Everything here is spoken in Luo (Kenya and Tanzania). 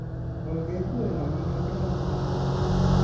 Onge gweno manodong nyoro